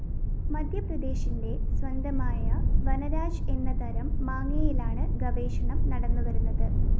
മധ്യപ്രദേശിന്റെ സ്വന്തമായ വനരാജ് എന്ന തരം മാങ്ങയിലാണ് ഗവേഷണം നടന്നുവരുന്നത്